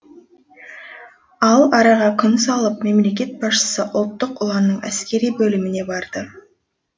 ал араға күн салып мемлекет басшысы ұлттық ұланның әскери бөліміне барды